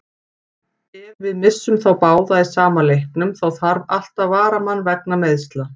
Ef við missum þá báða í sama leiknum, þá þarf alltaf varamann vegna meiðsla.